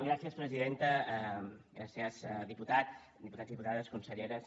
gràcies presidenta gràcies diputat diputats diputades conselleres